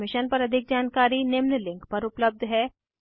इस मिशन पर अधिक जानकारी निम्न लिंक पर उपलब्ध है